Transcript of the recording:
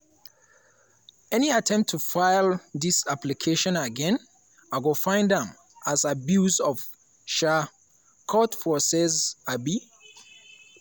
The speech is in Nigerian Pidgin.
"any attempt to file dis application again i go find am as abuse of um court process. um